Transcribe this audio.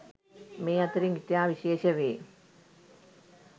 මේ අතරින් ඉතා විශේෂ වේ.